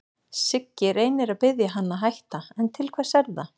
Siggi reynir að biðja hann að hætta, en til hvers er það?